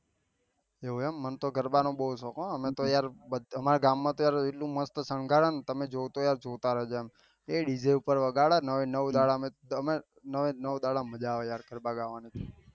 એવું એમ મન તો ગરબા નું બહુ શોક હા અમે તો યાર અમારા ગામ માં તો યાર એટલું મસ્ત સંઘરણ તમે જો તો તમે જોતા રહી જાય એ ડી જે ઉપર વગાડે ને નવે નવે દાડા નું નવે નવે દાડા મજા આયી